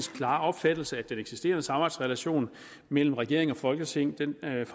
klare opfattelse at den eksisterende samarbejdsrelation mellem regering og folketing